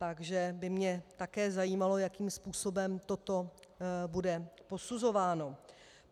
Takže by mě také zajímalo, jakým způsobem toto bude posuzováno.